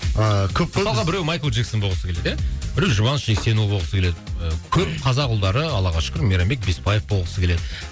ааа көп қой мысалға біреу майкл джексон болғысы келеді иә біреу жұбаныш жексенұлы болғысы келеді көп қазақ ұлдары аллаға шүкір мейрамбек беспаев болғысы келеді